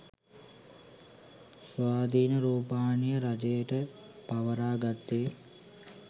ස්වාධින රූපවාහිනිය රජයෙට පවරා ගත්තේ